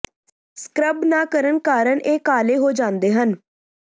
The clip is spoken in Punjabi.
ਸਕਰਬ ਨਾ ਕਰਨ ਕਾਰਨ ਇਹ ਕਾਲੇ ਹੋ ਜਾਂਦੇ ਹਨ